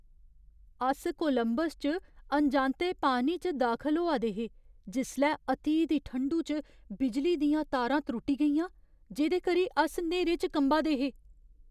अस कोलंबस च अनजांते पानी च दाखल होआ दे हे जिसलै अति दी ठंडु च बिजली दियां तारां त्रुट्टी गेइयां, जेह्‌दे करी अस न्हेरे च कंबा दे हे।